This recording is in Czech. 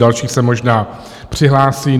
Další se možná přihlásí.